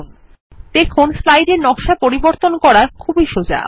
দেখুন কত সোজা স্লাইডের নকশা পরিবর্তন করা 160